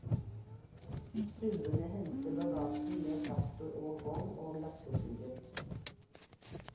Stuerne henter bagasjen med traktor og vogn og laster flyet.